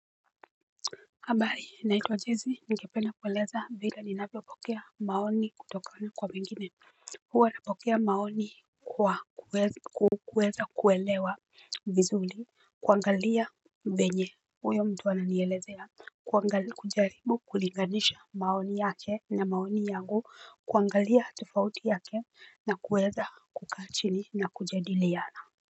Habari naitwa jezi ningependa kueleza vile ninapopokea maoni kutokona kwa mengine. Huwa napokea maoni kwa kueza kuelewa vizuri kuangalia venye uyo mtu ananiyelezea. Kuangalia kujaribu kulinganisha maoni yake na maoni yangu kuangalia tofauti yake na kuweza kukaa chini na kujadiliana.